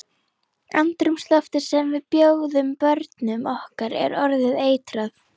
Andrúmsloftið sem við bjóðum börnum okkar er orðið eitrað.